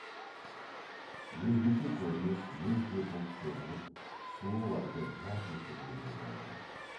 өзгеше көрініс лезде бұлт сөгіліп сұлу айды жарқ еткізгендей болды